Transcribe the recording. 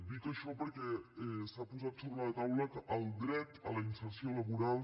dic això perquè s’ha posat sobre la taula el dret a la inserció laboral